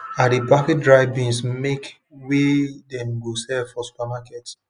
i dey package dry beans make wey dem go sale for supermarket